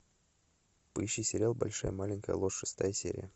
поищи сериал большая маленькая ложь шестая серия